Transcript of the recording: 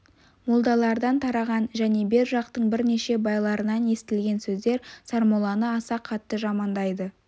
молдалардан тараған және бер жақтың бірнеше байларынан естілген сөздер сармолланы аса қатты жамандайды